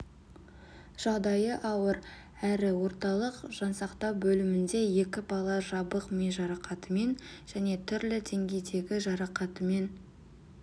жағдайы ауыр әрі орталық жансақтау бөлімінде екі бала жабық ми жарақатымен және түрлі деңгейдегі жарақатымен